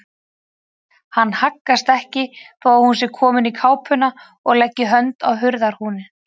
Hann haggast ekki þó að hún sé komin í kápuna og leggi hönd á hurðarhúninn.